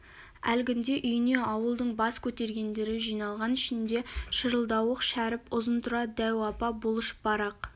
әлгінде үйіне ауылдың бас көтергендері жиналған ішінде шырылдауық шәріп ұзынтұра дәу апа бұлыш бар ақ